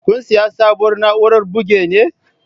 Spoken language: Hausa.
Kun siyi sabuwar na'urar buge ne?